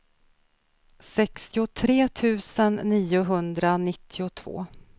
sextiotre tusen niohundranittiotvå